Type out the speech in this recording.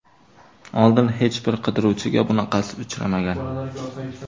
Oldin hech bir qidiruvchiga bunaqasi uchramagan.